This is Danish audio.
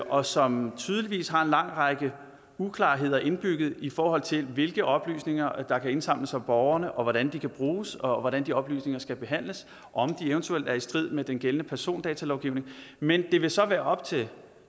og som tydeligvis har en lang række uklarheder indbygget i forhold til hvilke oplysninger der kan indsamles om borgerne og hvordan de kan bruges og hvordan de oplysninger skal behandles om de eventuelt er i strid med den gældende persondatalovgivning men det vil så være op til